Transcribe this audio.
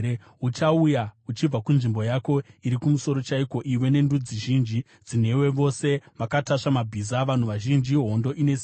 Uchauya uchibva kunzvimbo yako iri kumusoro chaiko, iwe nendudzi zhinji dzinewe, vose vakatasva mabhiza, vanhu vazhinji, hondo ine simba.